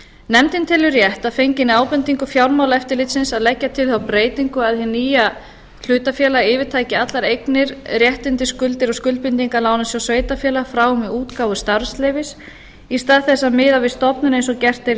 nefndin telur rétt að fenginni ábendingu fjármálaeftirlitsins að leggja til þá breytingu að hið nýja hlutafélag yfirtaki allar eignir réttindi skuldir og skuldbindingar lánasjóðs sveitarfélaga frá og með útgáfu starfsleyfis í stað þess að miða við stofnun eins og gert er í